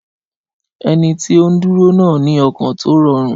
Ẹni tí ó ń dúró náà ní ọkàn tó rọrùn.